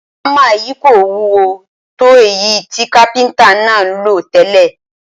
Ámà yìí kò wúwo tó èyí tí kápíntà náà ń lò tẹ́lẹ̀